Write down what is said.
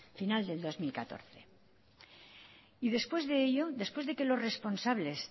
final de dos mil catorce y después de ello después de que los responsables